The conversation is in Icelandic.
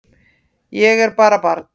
Ég er bara barn.